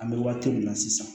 An bɛ waati min na sisan